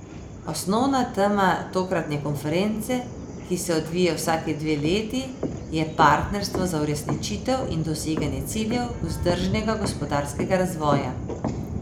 Osnovna tema tokratne konference, ki se odvije vsaki dve leti, je partnerstvo za uresničitev in doseganje ciljev vzdržnega gospodarskega razvoja.